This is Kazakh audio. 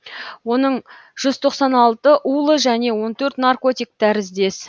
оның жүз тоқсан алты улы және он төрт наркотик тәріздес